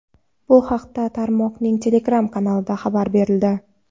Bu haqda tarmoqning Telegram kanalida xabar berildi.